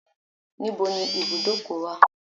Where is the garage?